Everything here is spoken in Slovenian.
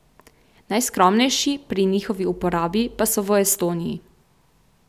Najskromnejši pri njihovi uporabi pa so v Estoniji.